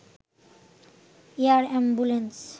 air ambulance